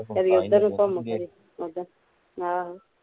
ਕਦੀ ਏਧਰ ਨੂੰ ਘੁਮ ਕੇ ਆਹੋ